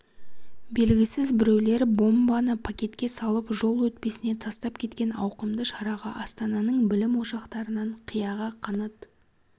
белгісіз біреулер бомбаны пакетке салып жол өтпесіне тастап кеткен ауқымды шараға астананың білім ошақтарынан қияға қанат